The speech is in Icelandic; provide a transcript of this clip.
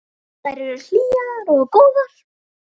Þær eru hlýjar og góðar.